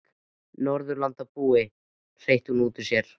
Norðurlandabúi, hreytir hún út úr sér.